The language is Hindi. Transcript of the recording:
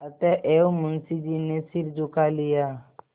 अतएव मुंशी जी ने सिर झुका लिया